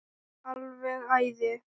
Alveg æði.